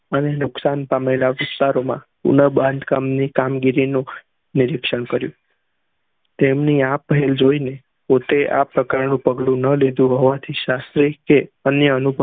અને નુકશાન પામેલા વિસ્તારો માં ગુના બંધ કામ ની કામ ગીરી નું નીરક્ક્ષણ કર્યું તેમની આ પેહેલ જોયી ને પોતે આ પ્રકાર ની પગડા ના લીધેલા હોવા હતી